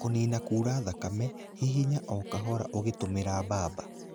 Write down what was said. Kũnina kuura thakame, hihinya o kahora ũngitumĩra bamba.